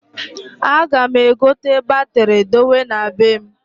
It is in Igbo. A ga m egote batiri dowe na bem.